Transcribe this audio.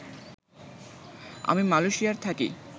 আমি মালয়েশিয়ায় থাকি